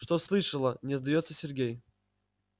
что слышала не сдаётся сергей